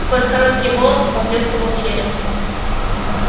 сквозь короткие волосы поблескивал череп